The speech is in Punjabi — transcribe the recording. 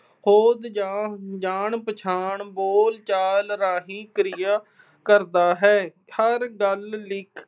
ਖੋਜ ਜਾਂ ਜਾਣ-ਪਛਾਣ, ਬੋਲਚਾਲ ਰਾਹੀਂ ਕਿਰਿਆ ਕਰਦਾ ਹੈ। ਹਰ ਗੱਲ